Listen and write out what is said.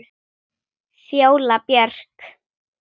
Fjóla Björk.